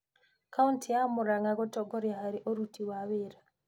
Kautĩ ya Murang'a gũtongoria harĩ ũruti wa wĩĩra